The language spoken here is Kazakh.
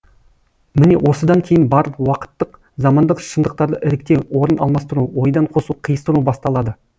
міне осыдан кейін барып уақыттық замандық шындықтарды іріктеу орын алмастыру ойдан қосу қиыстыру басталады